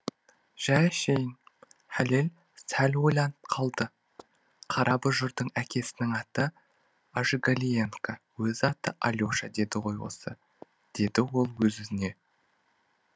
жәй әшейін хәлел сәл ойланып қалды қара бұжырдың әкесінің аты ажигалиенко өз аты алеша деді ғой осы деді ол өз өзіне